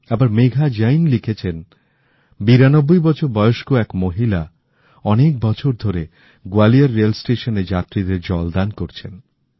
আবার মেঘা জৈন লিখেছেন ৯২ বছর বয়স্ক এক মহিলা অনেক বছর ধরে গোয়ালিয়র রেল স্টেশনে যাত্রিদের জলদান করছেন